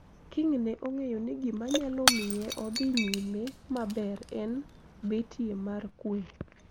King ne ong`eyo ni gima nyalo miye odhi nyime maber en betie mar kwe